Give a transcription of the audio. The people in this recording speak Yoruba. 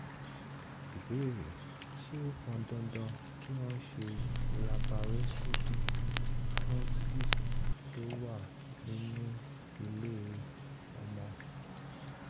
ìbéèrè: ṣé ó pọn dandan kí wọ́n ṣe laparoscopy fún cyst tó wà nínú ilé-ọmọ?